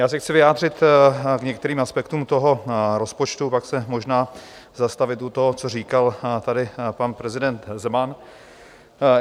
Já se chci vyjádřit k některým aspektům toho rozpočtu, pak se možná zastavit u toho, co říkal tady pan prezident Zeman.